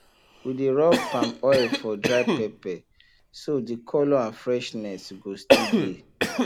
we dey rub palm oil for dry pepper so the colour and freshness go still dey